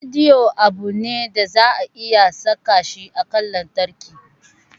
Radiyo abu ne da za a iya saka shi a cajan lantarki.